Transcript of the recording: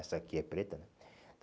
Essa aqui é preta, né?